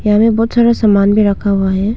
यहां में बहुत सारा सामान भी रखा हुआ है।